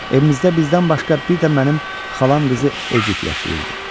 Evimizdə bizdən başqa bir də mənim xalam qızı Edit yaşayırdı.